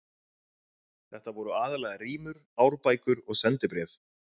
Þetta voru aðallega rímur, árbækur og sendibréf.